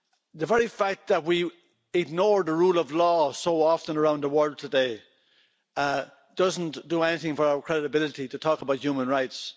The very fact that we ignore the rule of law so often around the world today does not do anything for our credibility to talk about human rights